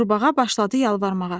Qurbağa başladı yalvarmağa.